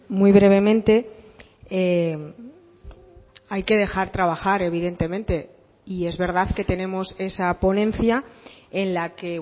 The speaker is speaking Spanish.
muy brevemente hay que dejar trabajar evidentemente y es verdad que tenemos esa ponencia en la que